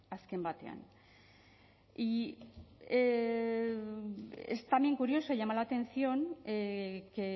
azken batean y es también curioso y llama la atención que